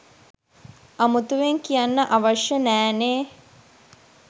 අමුතුවෙන් කියන්න අවශ්‍ය නෑ නේ